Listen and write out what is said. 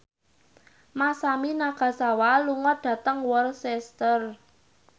Masami Nagasawa lunga dhateng Worcester